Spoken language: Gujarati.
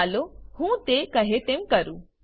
ચાલો હું તે કહે તેમ કરું